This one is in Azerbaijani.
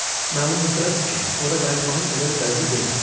Məlum məsələdir ki, ora qayıtmağın elə də dəlisi deyiləm.